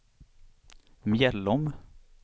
Mjällom